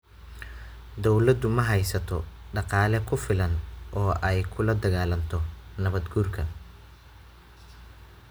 Dawladdu ma haysato dhaqaale ku filan oo ay kula dagaalanto nabaad guurka.